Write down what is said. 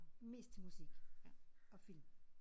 Mest til musik og film